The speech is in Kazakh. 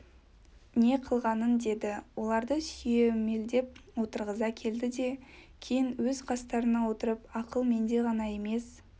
не қылғаның деді оларды сүйемелдеп отырғыза келді де кейін өз қастарына отырып ақыл менде ғана емес